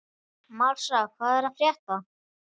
Marsa, hvað er að frétta?